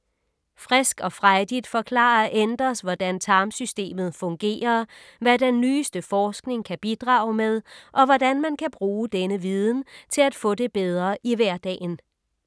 Frisk og frejdigt forklarer Enders, hvordan tarmsystemet fungerer, hvad den nyeste forskning kan bidrage med og hvordan man kan bruge denne viden til at få det bedre i hverdagen.